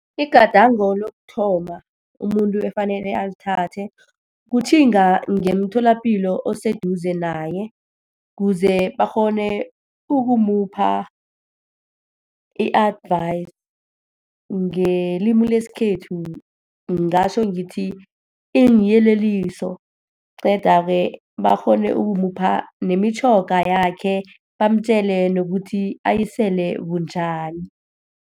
Igadango lokuthoma umuntu efanele alithathe, kutjhinga ngemtholapilo oseduze naye, kuze bakghone ukumupha i-advice. Ngelimu lesikhethu ngingatjho ngithi iinyeleliso. Qeda-ke, bakghone ukumupha nemitjhoga yakhe, bamtjele nokuthi ayisele bunjani.